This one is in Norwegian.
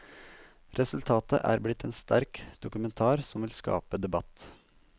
Resultatet er blitt en sterk dokumentar som vil skape debatt.